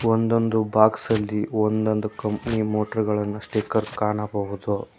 ಒಂದೊಂದು ಬಾಕ್ಸ್ ಅಲ್ಲಿ ಒಂದೊಂದು ಕಂಪನಿ ಮೋಟಾರ್ ಗಳನ್ನ ಸ್ಟಿಕರ್ ಕಾಣಬಹುದು.